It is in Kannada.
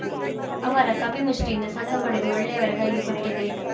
ಅವರ ಕಪಿಮುಷ್ಟಿಯಿಂದ ಸಂಘ ಪಡೆದು ಒಳ್ಳೆಯವರ ಕೈಗೆ ಕೊಟ್ಟಿದ್ದೆ